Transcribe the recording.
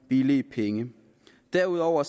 billig penge derudover